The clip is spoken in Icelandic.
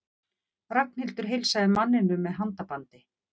Ragnhildur heilsaði manninum með handabandi.